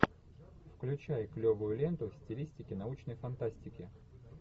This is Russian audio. включай клевую ленту в стилистике научной фантастики